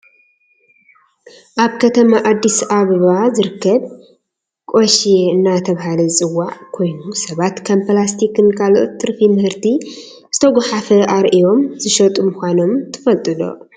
ኣብ ከተማ ኣዲስ ኣበባ ዝርከብ ቆሼ እንዳተባሃለ ዝፅዋዕ ኮይኑ ሰባት ከም ፕላስቲክን ካልኦት ትርፊ ምህርቲ ዝተጓሓፈ ኣርዮም ዝሸጡ ምኳኖም ትፈልጡ ዶ ?